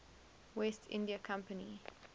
west india company